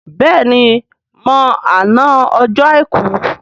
béèni mọ àna Ọjọ́ aìkú.